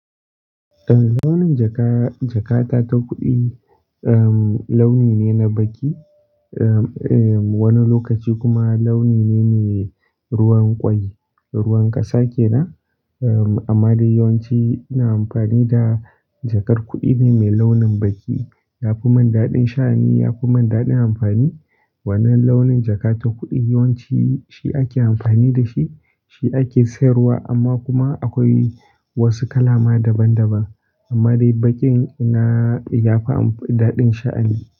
Eh, launin jaka-jakata ta kuɗi, um, launi ne na baƙi, um, wani lokaci kuma launi ne mai ruwan ƙwai, ruwan ƙasa ke nan. Amma dai yawanci ina amfani da jakar kuɗi ne mai launin baƙi. Yafi man daɗin sha'ani, yafi man daɗin amfani. Wannan launin jaka ta kuɗi yawanci shi ake amfani da shi, shi ake sayarwa amma kuma akwai wasu kala ma daban daban. Amma dai baƙin na yafi daɗin sha'ani.